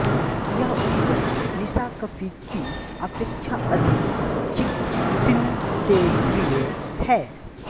यह उपगण निशाकपि की अपेक्षा अधिक चिकसिंतेद्रिय है